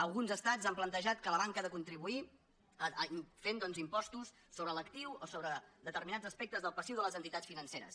alguns estats han plantejat que la banca ha de contribuir fent doncs impostos sobre l’actiu o sobre determinats aspectes del passiu de les entitats financeres